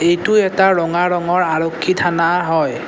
এইটো এটা ৰঙা ৰঙৰ আৰক্ষী থানা হয়।